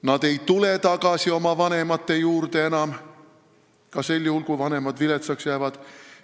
Nad ei tule tagasi oma vanemate juurde, ka sel juhul, kui vanemad viletsaks jäävad.